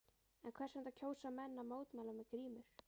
En hvers vegna kjósa menn að mótmæla með grímur?